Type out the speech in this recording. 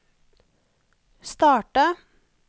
starta